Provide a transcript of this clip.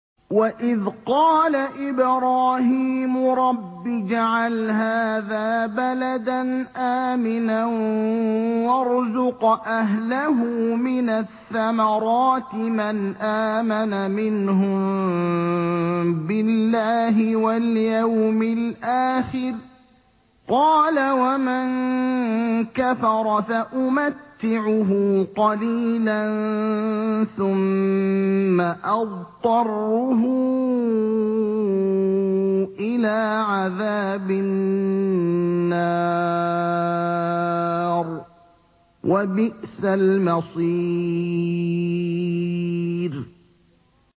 وَإِذْ قَالَ إِبْرَاهِيمُ رَبِّ اجْعَلْ هَٰذَا بَلَدًا آمِنًا وَارْزُقْ أَهْلَهُ مِنَ الثَّمَرَاتِ مَنْ آمَنَ مِنْهُم بِاللَّهِ وَالْيَوْمِ الْآخِرِ ۖ قَالَ وَمَن كَفَرَ فَأُمَتِّعُهُ قَلِيلًا ثُمَّ أَضْطَرُّهُ إِلَىٰ عَذَابِ النَّارِ ۖ وَبِئْسَ الْمَصِيرُ